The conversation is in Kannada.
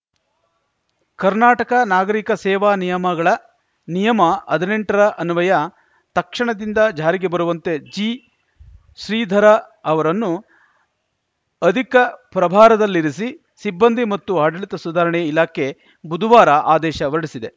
ಕರ್ನಾಟಕ ನಾಗರಿಕ ಸೇವಾ ನಿಯಮಗಳ ನಿಯಮ ಹದ್ ನೆಂಟರ ಅನ್ವಯ ತಕ್ಷಣದಿಂದ ಜಾರಿಗೆ ಬರುವಂತೆ ಜಿ ಶ್ರೀಧರ ಅವರನ್ನು ಅಧಿಕ ಪ್ರಭಾರದಲ್ಲಿರಿಸಿ ಸಿಬ್ಬಂದಿ ಮತ್ತು ಆಡಳಿತ ಸುಧಾರಣೆ ಇಲಾಖೆ ಬುಧವಾರ ಆದೇಶ ಹೊರಡಿಸಿದೆ